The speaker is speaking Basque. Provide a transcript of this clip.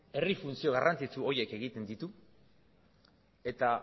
herri funtzio garrantzitsu horiek egiten ditu eta